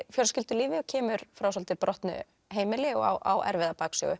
fjölskyldulífi og kemur frá svolítið brotnu heimili og á erfiða